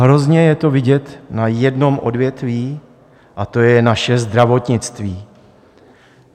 Hrozně je to vidět na jednom odvětví, a to je naše zdravotnictví.